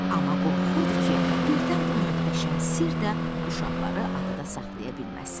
Amma qorxurdu ki, birdən bu möhtəşəm sirr də uşaqları adada saxlaya bilməsin.